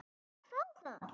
Ég verð að fá það!